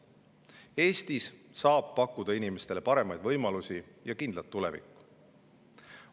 Eestis saab pakkuda inimestele paremaid võimalusi ja kindlat tulevikku.